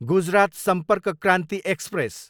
Gujarat Sampark Kranti express